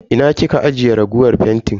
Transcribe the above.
Ina kika ajiye raguwar fentin?